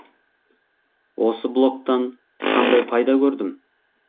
осы блогтан қандай пайда көрдім